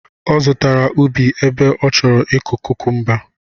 Ọ zụtara ubi ebe ọ chọrọ ịkọ kukumba